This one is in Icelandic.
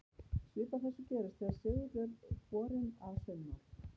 Svipað þessu gerist þegar segull er borinn að saumnál.